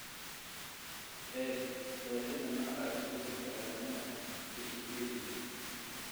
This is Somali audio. eeg qeexida nooca isu beddelka aadanaha wikipedia